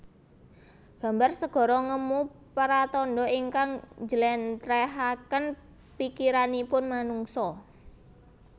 Gambar segara ngemu pratandha ingkang njléntrehaken pikiranipun manungsa